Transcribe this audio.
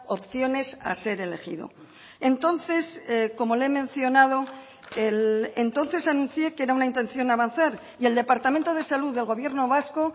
opciones a ser elegido entonces como le he mencionado entonces anuncié que era una intención avanzar y el departamento de salud del gobierno vasco